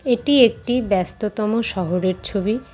এটি একটি ব্যস্ততম শহরের ছবি।